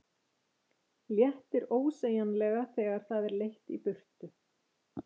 Léttir ósegjanlega þegar það er leitt í burtu.